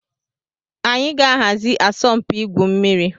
Anyị ga-ahazi asọmpi igwu mmiri.